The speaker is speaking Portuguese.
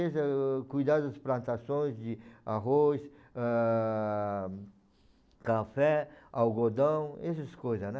cuidaram das plantações de arroz, ah, café, algodão, esses coisas, né?